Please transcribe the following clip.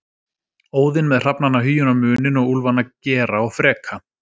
Óðinn með hrafnana Hugin og Munin og úlfana Gera og Freka.